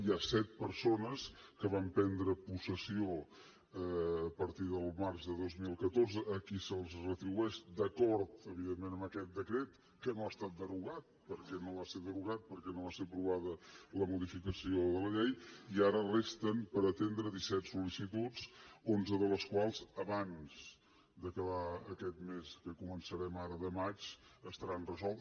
hi ha set persones que van prendre possessió a partir del març de dos mil catorze a qui se’ls retribueix d’acord evidentment amb aquest decret que no ha estat derogat perquè no va ser derogat perquè no va ser aprovada la modificació de la llei i ara resten per atendre disset sol·licitud onze de les quals abans d’acabar aquest mes que començarem ara de maig estaran resoltes